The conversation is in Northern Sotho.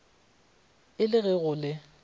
a le ge go le